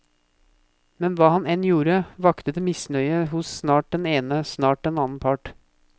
Men hva han enn gjorde, vakte det misnøye hos snart den ene, snart den annen part.